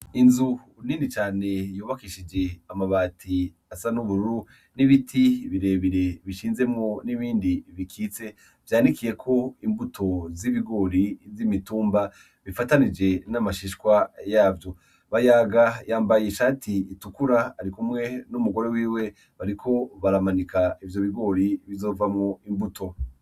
Inzu nini cane yubakishije amabati asa n'ubururu n'ibiti birebire bishinzemwo n'ibindi bikitse vyandikiye ko imbuto z'ibigori z'imitumba bifatanije n'amashishwa yavyo bayaga yambaye ishati itukura ari kumwe n'umugore wiwe bariko baramanika ivyo bigori bizova mu imbuto.